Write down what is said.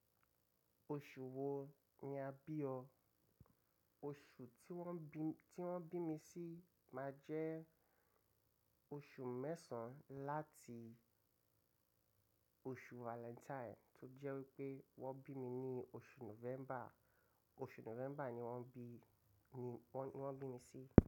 Osù wo ni a bi ọ. Oṣù tí wọ́n bí, tí wọ́n bí mi sí máa jẹ́ oṣù mẹ́sàn-án láti oṣù Valentine tó jẹ́ wípé wọ́n bí mi ní oṣù November. Oṣù November ni wọ́n bí wọ́n mi sí.